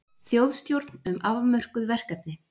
Þjóðstjórn um afmörkuð verkefni